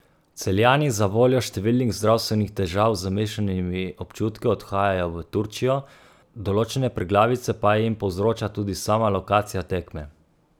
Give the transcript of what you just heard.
Celjani zavoljo številnih zdravstvenih težav z mešanimi občutki odhajajo v Turčijo, določene preglavice pa jim povzroča tudi sama lokacija tekme.